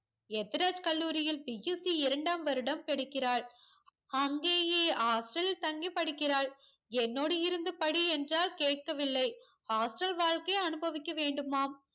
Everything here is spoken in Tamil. எத்திராஜ் கல்லூரியில் BSC இரண்டாம் வருடம் படிக்கிறாள் அங்கேயே hostel தங்கி படிக்கிறாள் என்னோடு இருந்து படியென்றால் கேட்கவில்லை hostel வாழ்க்கை அனுபவிக்க வேண்டுமாம்